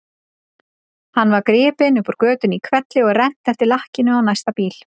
Hann var gripinn upp úr götunni í hvelli og rennt eftir lakkinu á næsta bíl.